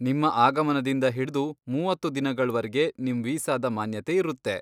ನಿಮ್ಮ ಆಗಮನದಿಂದ ಹಿಡ್ದು ಮೂವತ್ತು ದಿನಗಳ್ವರ್ಗೆ ನಿಮ್ ವೀಸಾದ ಮಾನ್ಯತೆ ಇರುತ್ತೆ.